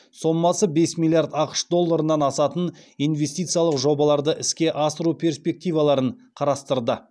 сомасы бес миллиард ақш долларынан асатын инвестициялық жобаларды іске асыру перспективаларын қарастырды